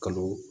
Kalo